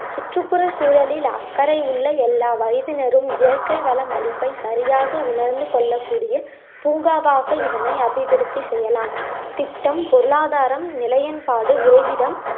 சுற்றுப்புற சூழலில் அக்கறை உள்ள எல்லா வயதினரும் இயற்கை வளம் அழிப்பை சரியாக உணர்ந்து கொள்ளக்கூடிய பூங்காவாக இதனை அபிவிருத்தி செய்யலாம் திட்டம்ம், பொருளாதாரம், நிலையென்பாடு, உறைவிடம்